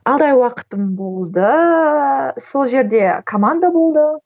алты ай уақытым болды сол жерде команда болды